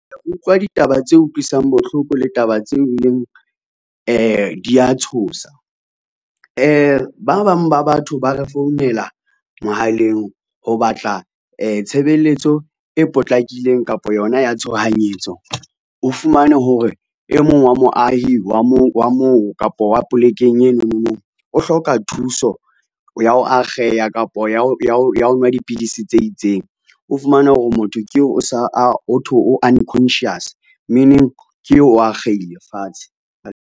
Ke utlwa ditaba tse utlwisang bohloko le taba tseo e leng dia tshosa. Ba bang ba batho ba re founela mohaleng ho batla tshebeletso e potlakileng kapa yona ya tshohanyetso, o fumane hore e mong wa moahi wa moo kapo wa polekeng eno mono o hloka thuso ya ho akgeha kapa ya ho nwa dipidisi tse itseng, o fumane hore motho keo ho thwe o unconscious meaning ke eo o akgehile fatshe.